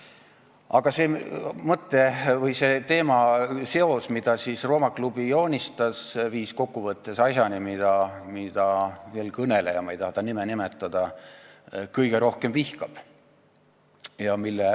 Aga see teemaseos, mida Rooma Klubi oma graafikutel joonistas, viis kokkuvõttes asjani, mida eelkõneleja – ma ei taha ta nime nimetada – kõige rohkem vihkab.